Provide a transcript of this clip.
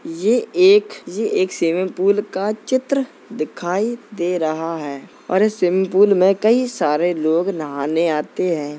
ये एक ये एक स्विमिंग पूल का चित्र दिखाई दे रहा है और इस स्विमिंग पूल में कई सारे लोग नहाने आते हैं।